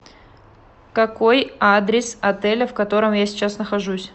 какой адрес отеля в котором я сейчас нахожусь